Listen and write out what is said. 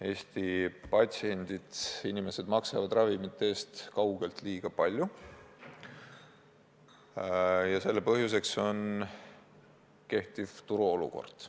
Eesti patsiendid, inimesed maksavad ravimite eest kaugelt liiga palju ja selle põhjuseks on valitsev turuolukord.